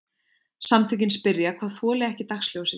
Samtökin spyrja hvað þoli ekki dagsljósið